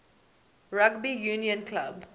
rugby union club